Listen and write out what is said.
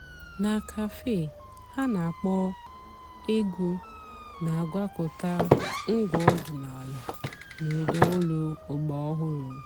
nà càfé há nà-àkpọ́ ègwú nà-àgwàkọ̀tá ǹgwá ọ̀dị́náàlà nà ụ́dà ólú ọ̀gbàràòhụ́rụ́.